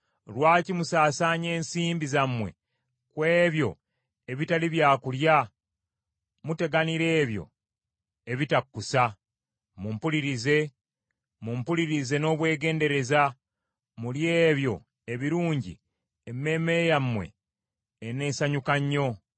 Lwaki musaasaanya ensimbi zammwe ku ebyo ebitali bya kulya muteganira ebyo ebitakkusa? Mumpulirize, mumpulirize n’obwegendereza mulye ebyo ebirungi, emmeeme yammwe eneesanyuka nnyo.